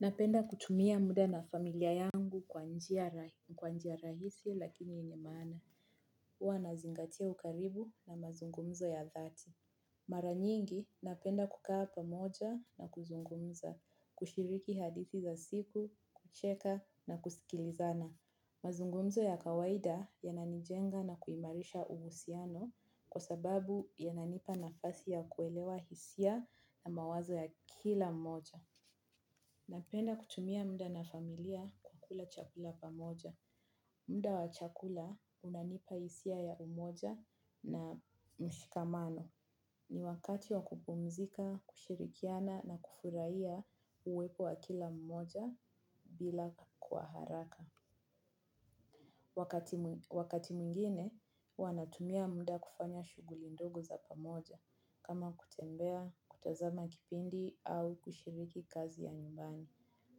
Napenda kutumia muda na familia yangu kwa njia rahisi lakini yenye maana. Huwa nazingatia ukaribu na mazungumzo ya dhati. Mara nyingi napenda kukaa pamoja na kuzungumza, kushiriki hadithi za siku, kucheka na kusikilizana. Mazungumzo ya kawaida yananijenga na kuimarisha uhusiano kwa sababu yananipa nafasi ya kuelewa hisia na mawazo ya kila mmoja. Napenda kutumia muda na familia kukula chakula pamoja. Muda wa chakula unanipa hisia ya umoja na mshikamano. Ni wakati wa kupumzika, kushirikiana na kufurahia uwepo wa kila mmoja bila kwa haraka. Wakati mwingine, huwa natumia muda kufanya shughuli ndogo za pamoja. Kama kutembea, kutazama kipindi au kushiriki kazi ya nyumbani.